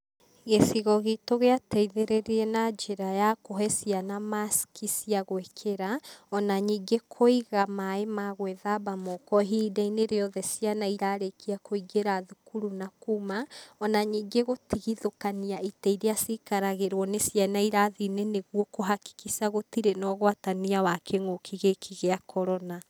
Gĩcigo gitũ gĩa teithĩrĩirie na njĩra ya kũhe ciana maciki cia gũĩkĩra ona nyingĩ kũiga maĩ ma gwĩthamba moko ihinda-inĩ rĩothe ciana irarĩkia kũingĩra thukuru na kuma, ona ningĩ gũtigithũkania itĩ ir hakikisha a cikaragĩrwo nĩ ciana irathi-inĩ nĩguo kũ hakikisha gũtirĩ na ũgũatania wa kĩng'ũki gĩkĩ gĩa Corona.